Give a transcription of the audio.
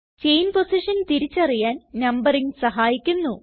chain position തിരിച്ചറിയാൻ numbering സഹായിക്കുന്നു